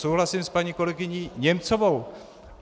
Souhlasím s paní kolegyní Němcovou.